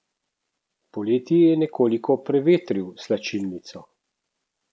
Poleti je nekoliko prevetril slačilnico.